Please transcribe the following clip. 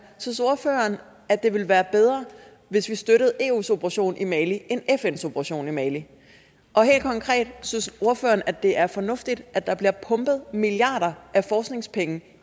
synes ordføreren at det ville være bedre hvis vi støttede eus operation i mali end fns operation i mali og helt konkret synes ordføreren at det er fornuftigt at der bliver pumpet milliarder af forskningspenge